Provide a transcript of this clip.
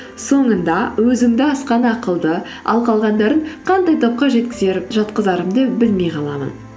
соңында өзімді асқан ақылды ал қалғандарын қандай топқа жатқызарымды білмей қаламын